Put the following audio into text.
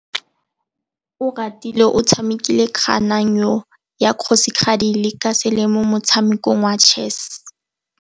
Oratile o tshamekile kananyô ya kgosigadi le khasêlê mo motshamekong wa chess.